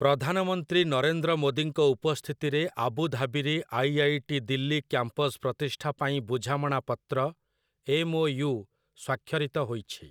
ପ୍ରଧାନମନ୍ତ୍ରୀ ନରେନ୍ଦ୍ର ମୋଦିଙ୍କ ଉପସ୍ଥିତିରେ ଆବୁଧାବୀରେ ଆଇ.ଆଇ.ଟି. ଦିଲ୍ଲୀ କ୍ୟାମ୍ପସ୍ ପ୍ରତିଷ୍ଠା ପାଇଁ ବୁଝାମଣା ପତ୍ର, ଏମ୍‌.ଓ.ୟୁ., ସ୍ୱାକ୍ଷରିତ ହୋଇଛି ।